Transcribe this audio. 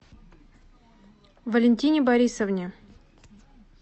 валентине борисовне